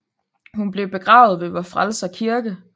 Hun blev begravet ved Vor Frelser Kirke